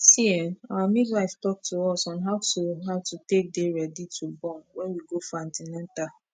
see[um]our midwife talk to us on how to how to take dey ready to born wen we go for an ten atal